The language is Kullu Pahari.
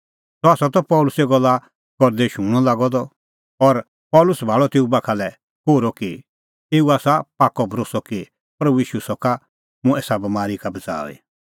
सह त पल़सी गल्ला करदै शूणअ लागअ द और पल़सी भाल़अ तेऊ बाखा लै कोहरअ कि एऊ आसा पाक्कअ भरोस्सअ कि प्रभू ईशू सका मुंह एसा बमारी का बच़ाऊई